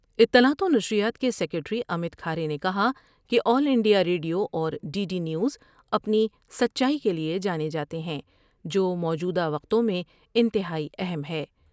اطلاعات ونشریات کے سکریٹری امت کھارے نے کہا کہ آل انڈیا ریڈیو اور ڈی ڈی نیوز ا پنی سچائی کے لیے جانے جاتے ہیں جوموجودہ وقتوں میں انتہائی اہم ہے ۔